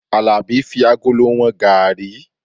Alabi fi agolo wọn garri